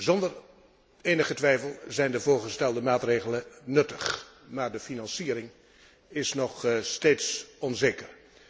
Zonder enige twijfel zijn de voorgestelde maatregelen nuttig, maar de financiering is nog steeds onzeker.